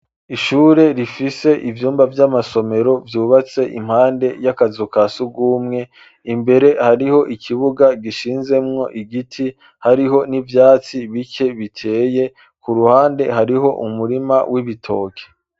ishure rifise ivyumba vy'amasomero vyubatse impande y'akazu ka sugwumwe , imbere hariho ikibuga gishinzemwo igiti , hariho n'ivyatsi bike biteye , .ku ruhande hariho umurima w'ibitoke.